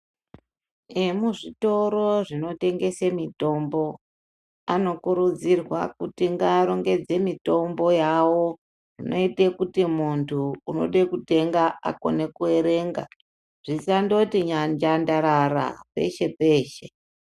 Emuzvitoro zvinotengese mitombo, anokurudzirwa kuti ngaarongedze mitombo yawo zvinoite kuti munthu unode kutenga akone kuerenga, zvisandoti nyanjandarara peshe-peshe.